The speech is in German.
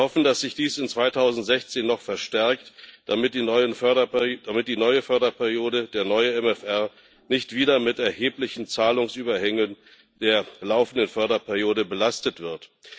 Wir hoffen, dass sich dies 2019 noch verstärkt, damit die neue Förderperiode, der neue MFR, nicht wieder mit erheblichen Zahlungsüberhängen der laufenden Förderperiode belastet wird.